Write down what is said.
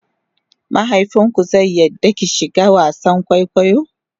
mahaifinku zai yarda ki shiga wasan kwaikwayo?